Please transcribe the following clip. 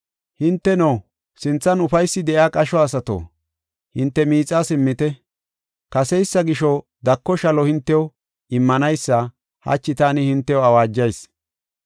Hinteno, sinthan ufaysi de7iya qasho asato, hinte miixaa simmite. Kaseysa gisho dako shalo hintew immanaysa hachi taani hintew awaajayis.